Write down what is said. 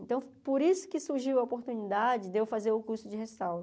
Então, por isso que surgiu a oportunidade de eu fazer o curso de restauro.